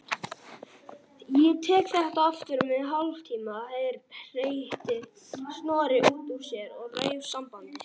Öllu heldur þá áhættu að ég félli ekki í skuggann af þér.